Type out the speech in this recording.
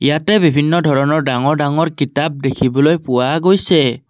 ইয়াতে বিভিন্ন ধৰণৰ ডাঙৰ ডাঙৰ কিতাপ দেখিবলৈ পোৱা গৈছে।